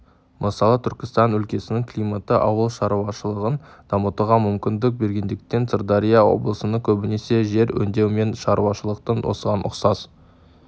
мысалы түркістан өлкесінің климаты ауыл шаруашылығын дамытуға мүмкіндік бергендіктен сырдария облысына көбінесе жер өңдеу мен шаруашылықтың осыған ұқсас